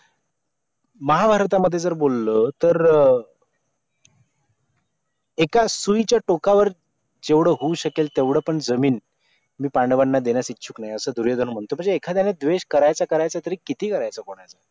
महाभारतामध्ये जर बोललं तर एका सुईच्या टोकावर जेवढ होऊ शकेल तेवढ पण जमीन मी पांडवांना देण्यास इच्छुक नाय असं दुर्योधन म्हणतो म्हणजे एखाद्याने द्वेष करायचं करायचं तरी किती करायचं कुणाचा